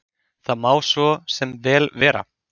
Það má svo sem vel vera.